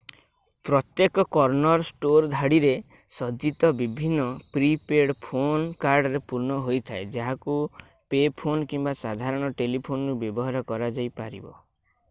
ପ୍ରତ୍ୟେକ corner store ଧାଡ଼ିରେ ସଜ୍ଜିତ ବିଭିନ୍ନ ପ୍ରି-ପେଡ୍ ଫୋନ୍ କାର୍ଡରେ ପୂର୍ଣ୍ଣ ହୋଇଥାଏ ଯାହାକୁ ପେ ଫୋନ୍ କିମ୍ବା ସାଧାରଣ ଟେଲିଫୋନ୍‌ରୁ ବ୍ୟବହାର କରାଯାଇପାରିବ।